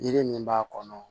Yiri min b'a kɔnɔ